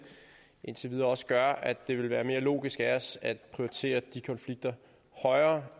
indtil videre også gør at det vil være mere logisk af os at prioritere de konflikter højere